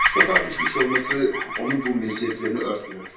Sokağa düşmüş olması onun bu meziyetlerini örtmüyor.